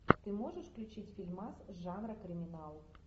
ты можешь включить фильмас жанра криминал